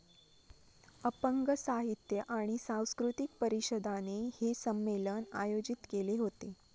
अपंग साहित्य आणि संस्कृतिक परीषदाने हे सम्मेलन आयोजित केले होते.